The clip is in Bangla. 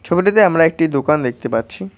ছবিটিতে আমরা একটি দোকান দেখতে পাচ্ছি।